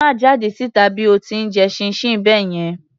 Má jáde síta bí o ti ń jẹ chinchin báyẹn.